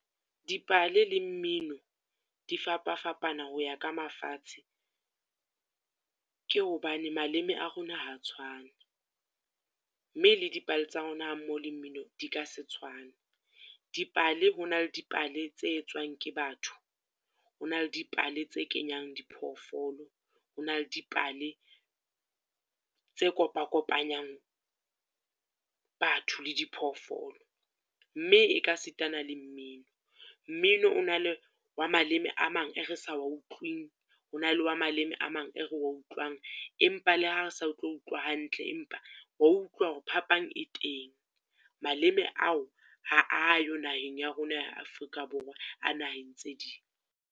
Dipale le mmino di fapafapana ho ya ka mafatshe, ke hobane maleme a rona ha tshwane. Mme le dipale tsa rona ha mmoho le mmino di ka se tshwane. Dipale ho na le dipale tse etswang ke batho, ho na le dipale tse kenyang diphoofolo, ho na le dipale tse kopakopanyang batho le di phoofolo. Mme e ka sitana le mmino, mmino o na le wa maleme a mang e re sa wa utlwing, ho na le wa maleme a mang e re wa utlwang. Empa le ha re sa tlo utlwa hantle, empa wa utlwa hore phapang e teng, maleme ao ha ayo naheng ya rona ya Afrika Borwa a naheng tse ding.